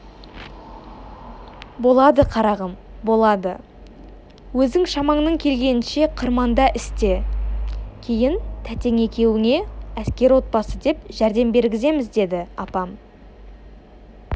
болады қарағым болады өзің шамаңның келгенінше қырманда істе кейін тәтең екеуіңе әскер отбасы деп жәрдем бергіземіз деді апам